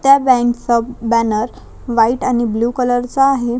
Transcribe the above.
त्या बँकचा banner white आणि ब्ल्यु आहे.